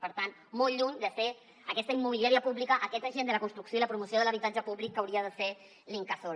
per tant molt lluny de ser aquesta immobiliària pública aquest agent de la construcció i la promoció de l’habitatge públic que hauria de ser l’incasòl